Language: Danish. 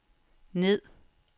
ned